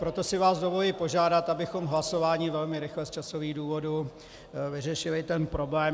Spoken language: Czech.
Proto si vás dovoluji požádat, abychom hlasováním velmi rychle z časových důvodů vyřešili ten problém.